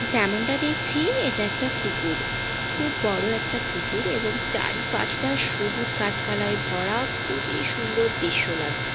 যেমনটা দেখছি এটা একটা পুকুর খুব বড় একটা পুকুর এবং চারিপাশটা সবুজ গাছপালায় ভরা খুবই সুন্দর দৃশ্য লাগছে।